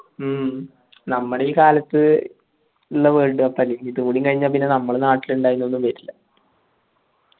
മ്മ് നമ്മടെ ഈ കാലത്ത് world cup ആയിരിക്കും ഇതും കൂടി കഴിഞ്ഞ പിന്നെ നമ്മൾ നാട്ടിലിൻഡായിന്നൊന്നും വെരില്ല